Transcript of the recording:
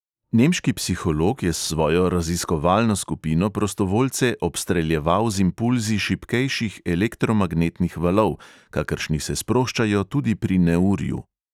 Nemški psiholog je s svojo raziskovalno skupino prostovoljce obstreljeval z impulzi šibkejših elektromagnetnih valov, kakršni se sproščajo tudi pri neurju.